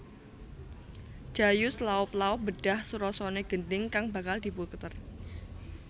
Jayus laop laop mbedhah surasane gendhing kang bakal diputer